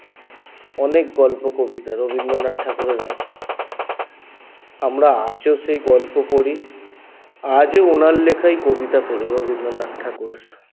অনেক গল্প কবিতা রবিন্দ্রনাথ ঠাকুরের আছে আমরা আজো সেই গল্প পড়ি আজও ওনার লেখাই কবিতা পড়ি রবিন্দ্রনাথ ঠাকুরের